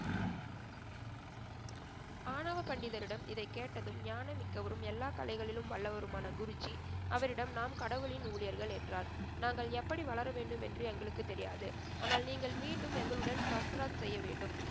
ஆணவ பண்டிதரிடம் இதைக்கேட்டதும் ஞானம் மிக்கவரும் எல்லாக் கலைகளிலும் வல்லவருமான குருஜி அவரிடம் நாம் கடவுளின் ஊழியர்கள் என்றார். நாங்கள் எப்படி வளரவேண்டும் என்று எங்களுக்கு தெரியாது! ஆனால் நீங்கள் மீண்டும் எங்களுடன் சஸ்த்ராத் செய்யவேண்டும்.